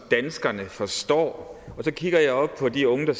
danskerne forstår og så kigger jeg op på de unge der